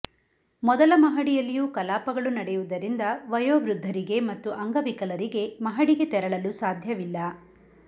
ಮೊದಲ ಮಹಡಿಯಲ್ಲಿಯೂ ಕಲಾಪಗಳು ನಡೆಯುವುದರಿಂದ ವಯೋವೃದ್ಧರಿಗೆ ಮತ್ತು ಅಂಗವಿಕಲರಿಗೆ ಮಹಡಿಗೆ ತೆರಳಲು ಸಾಧ್ಯವಿಲ್ಲ